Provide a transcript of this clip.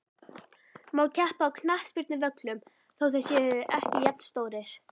Má keppa á knattspyrnuvöllum þó þeir séu ekki jafnstórir?